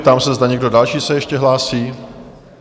Ptám se, zda někdo další se ještě hlásí?